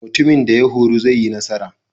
Mutumin da horo zai yi nasara.